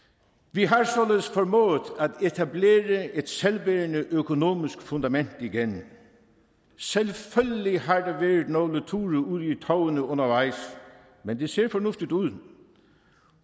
vi har således formået at etablere et selvbærende økonomisk fundament igen selvfølgelig har der været nogle ture ud i tovene undervejs men det ser fornuftigt ud